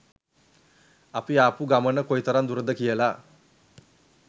අපි ආපු ගමන කොයිතරම් දුරද කියල.